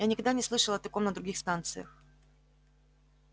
я никогда не слышал о таком на других станциях